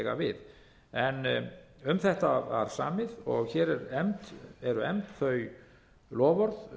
við en um þetta var samið og hér eru efnd þau loforð